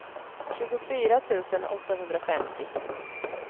tjugofyra tusen åttahundrafemtio